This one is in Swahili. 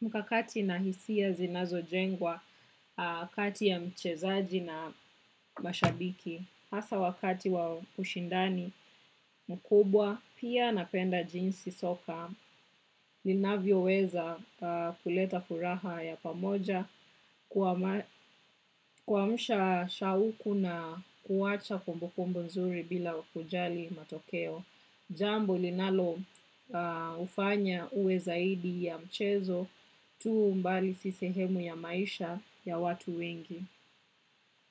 mkakati na hisia zinazojengwa kati ya mchezaji na mashabiki. Hasa wakati wa ushindani mkubwa, pia napenda jinsi soka, linavyoweza kuleta furaha ya pamoja kuamsha shauku na kuacha kumbu kumbu nzuri bila kujali matokeo. Jambo linaloufanya uwe zaidi ya mchezo tu mbali si sehemu ya maisha ya watu wengi.